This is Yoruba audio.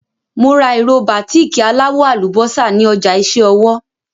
Mo ra ìró bàtíìkì aláwọ̀ àlùbọ́sà ní ọjà iṣẹ́ ọwọ́.